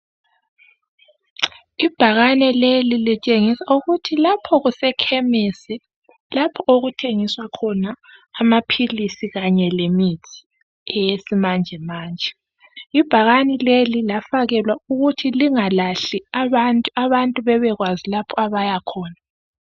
Ibhekane leli litshengisa ukuthi lapho kuse-khemisi, lapho okuthengiswa khona amaphilisi kanye le mithi, eyesimanjemanje. Ibhakane leli lafakelwa ukuthi lingalahli abantu, abantu bebekwazi lapho abayakhona.